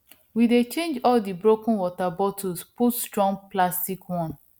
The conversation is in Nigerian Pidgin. we dey change all di broken water bottles put strong plastic one